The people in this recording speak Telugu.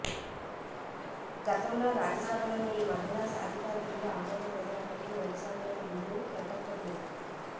గతంలో రాజ్యసభలో ఈ మహిళా సాధికార బిల్లు ఆమోదం పొందినప్పటికీ లోక్సభలో బిల్లు గట్టెక్కలేదు